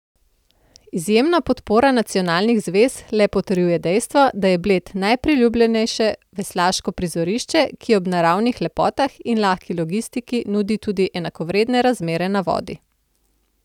Izjemna podpora nacionalnih zvez le potrjuje dejstvo, da je Bled najpriljubljenejše veslaško prizorišče, ki ob naravnih lepotah in lahki logistiki nudi tudi enakovredne razmere na vodi.